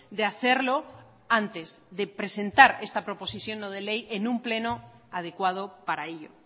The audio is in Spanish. de hacerlo antes de presentar esta proposición no de ley en un pleno adecuado para ello